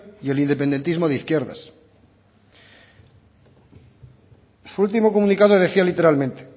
y el independentismo de izquierdas su último comunicado decía literalmente